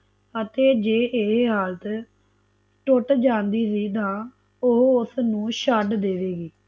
ਅਤੇ ਹੈ ਇਹ ਹਾਲਾਤ ਟੁੱਟ ਜਂਦੀ ਸੀ ਤਨ ਓਹ ਉਸਨੂੰ ਛੱਡ ਦੇਵੇਗੀ